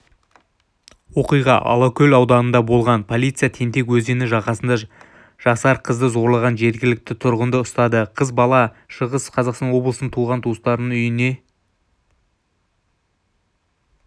оқиға алакөл ауданында болған полиция тентек өзені жағасында жасар қызды зорлаған жергілікті тұрғынды ұстады қыз бала шығыс қазақстан облысынан туған-туыстарының үйіне